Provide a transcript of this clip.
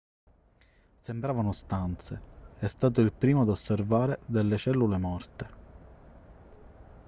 sembravano stanze è stato il primo ad osservare delle cellule morte